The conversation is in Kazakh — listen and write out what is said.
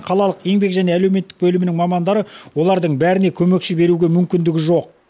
қалалық еңбек және әлеуметтік бөлімінің мамандары олардың бәріне көмекші беруге мүмкіндігі жоқ